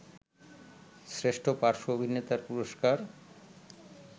শ্রেষ্ঠ পার্শ্ব অভিনেতার পুরস্কার